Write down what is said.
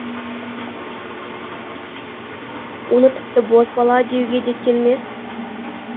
оны тіпті бозбала деуге де келмес